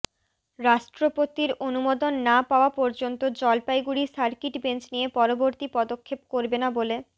রাষ্ট্রপতির অনুমোদন না পাওয়া পর্যন্ত জলপাইগু়ড়ি সার্কিট বেঞ্চ নিয়ে পরবর্তী পদক্ষেপ করবে না বলে